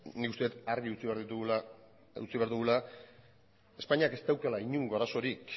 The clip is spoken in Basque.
nik uste det argi utzi behar dugula espainiak ez daukala inongo arazorik